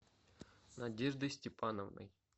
надеждой степановной